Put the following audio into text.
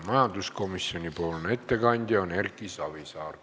Majanduskomisjoni ettekandja on Erki Savisaar.